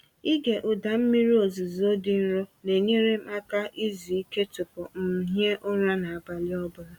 Ịge ụda mmiri ozuzo dị nro na-enyere m aka izu ike tupu m m hie ụra n’abalị ọ bụla.